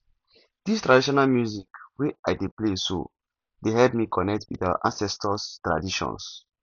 this traditional music wey i dey play so dey help me connect with our ancestors traditions